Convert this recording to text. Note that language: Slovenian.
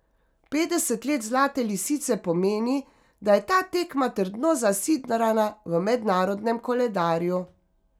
Petdeset let Zlate lisice pomeni, da je ta tekma trdno zasidrana v mednarodnem koledarju.